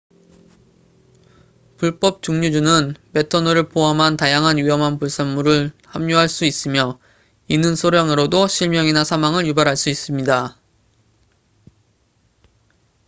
불법 증류주는 메탄올을 포함한 다양한 위험한 불순물을 함유할 수 있으며 이는 소량으로도 실명이나 사망을 유발할 수 있습니다